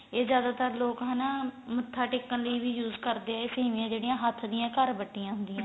ਇਹ ਜਿਆਦਾ ਤਰ ਲੋਕ ਹਨਾ ਮਥਾ ਟੇਕਣ ਲਈ ਵੀ use ਕਰਦੇ ਏ ਇਹ ਸੇਮੀਆਂ ਜਿਹੜੀਆ ਹੱਥ ਦੀ ਘਰ ਵੱਟੀਆਂ ਹੁੰਦੀਆਂ